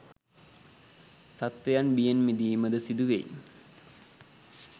සත්ත්වයන් බියෙන් මිදීම ද සිදු වෙයි.